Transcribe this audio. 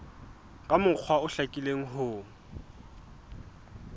ka mokgwa o hlakileng ho